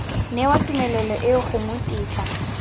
newa tumelelo eo gongwe tetla